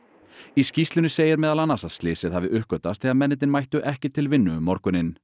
í skýrslunni segir meðal annars að slysið hafi uppgötvast þegar mennirnir mættu ekki til vinnu um morguninn